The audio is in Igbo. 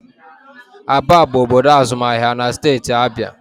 Aba bụ obodo azụmahịa na steeti Abịa